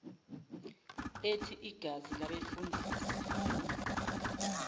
ethi igazi labefundisi